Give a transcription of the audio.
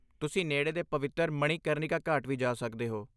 ਤੁਸੀਂ ਨੇੜੇ ਦੇ ਪਵਿੱਤਰ ਮਣੀਕਰਨਿਕਾ ਘਾਟ ਵੀ ਜਾ ਸਕਦੇ ਹੋ।